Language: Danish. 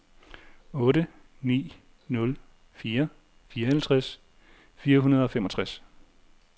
otte ni nul fire fireoghalvtreds fire hundrede og femogtres